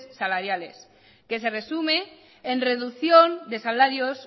salariales que se resume en reducción de salarios